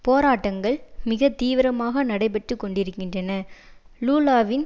போராட்டங்கள் மிக தீவிரமாக நடைபெற்றுக்கொண்டிருக்கின்றன லூலாவின்